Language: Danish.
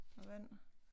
Og vand